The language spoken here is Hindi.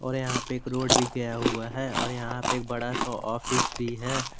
और यहां पे एक रोड भी गया हुआ है और यहां पे एक बड़ा सा ऑफिस भी है।